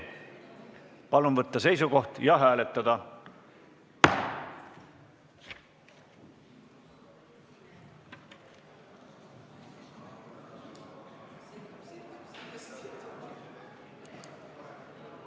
Palun võtta seisukoht ja hääletada!